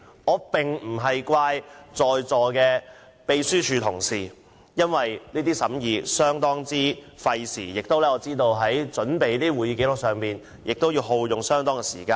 我並非責怪在座的秘書處同事，因我知道審議工作相當費時，我也明白準備會議紀要亦需耗用很多時間。